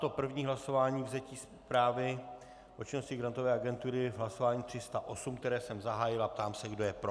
To první hlasování, vzetí zprávy o činnosti Grantové agentury, hlasování 308, které jsem zahájil, a ptám se, kdo je pro.